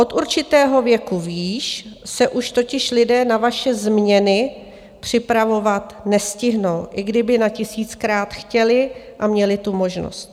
Od určitého věku výš se už totiž lidé na vaše změny připravovat nestihnou, i kdyby na tisíckrát chtěli a měli tu možnost.